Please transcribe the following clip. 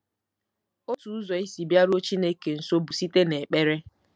Otu ụzọ isi bịaruo Chineke nso bụ site n’ekpere.